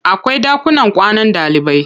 Akwai ɗakunan kwanan ɗalibai.